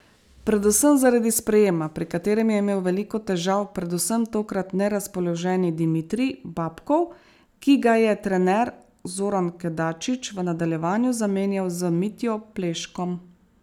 Predvsem zaradi sprejema, pri katerem je imel veliko težav predvsem tokrat nerazpoloženi Dimitrij Babkov, ki ga je trener Zoran Kedačič v nadaljevanju zamenjal z Mitjo Pleškom.